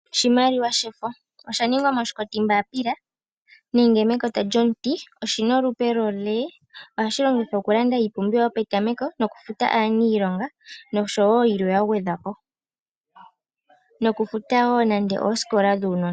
Oshimaliwa shefo osha ningwa moshikotimbaapila nenge mekota lyomuti. Oshi na olupe lwolee. Ohashi longithwa okulanda iipumbiwa yopetameko nokufuta aanilonga noshowo yilwe yagwedhwapo. Nokufuta woo nande oosikola dhuunona.